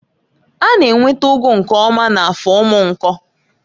A na-enweta ụgụ nke ọma na Afọ Umunko.